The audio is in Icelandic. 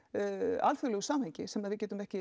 alþjóðlegu samhengi sem við getum ekki